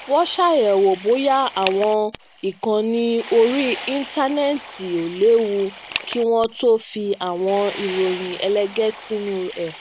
wón ṣàyẹwò bóyá awọn ìkànnì orí íńtánéètì ò léwu kí wón tó fi awọn iroyin ẹlẹgẹ sinu ẹ